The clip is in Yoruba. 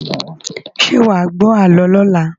Ṣé wà wá gbọ àlọ́ lọla?